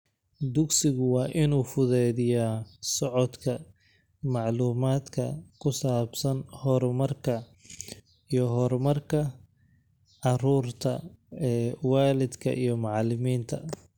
Dugsigu waa inuu fududeeyaa socodka macluumaadka ku saabsan horumarka iyo horumarka carruurta ee waalidka iyo macalimiinta.